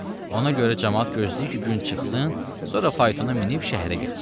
Ona görə camaat gözləyir ki, gün çıxsın, sonra faytona minib şəhərə getsin.